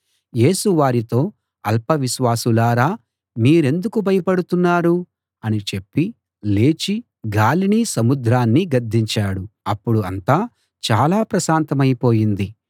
యేసు వారితో అల్ప విశ్వాసులారా మీరెందుకు భయపడుతున్నారు అని చెప్పి లేచి గాలినీ సముద్రాన్నీ గద్దించాడు అప్పుడు అంతా చాలా ప్రశాంతమై పోయింది